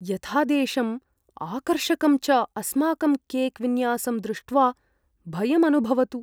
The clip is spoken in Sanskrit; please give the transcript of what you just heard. यथादेशम्, आकर्षकं च अस्माकं केक् विन्यासं दृष्ट्वा भयम् अनुभवतु।